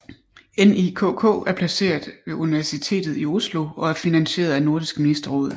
NIKK er placeret ved Universitetet i Oslo og er finansieret af Nordisk Ministerråd